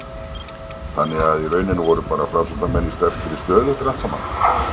Þannig að í rauninni voru bara Framsóknarmenn í sterkri stöðu eftir allt saman?